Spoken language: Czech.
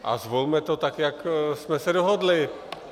A zvolme to tak, jak jsme se dohodli!